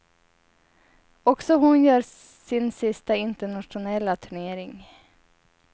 Också hon gör sin sista internationella turnering.